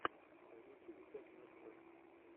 в ютюбе пять минут крафтс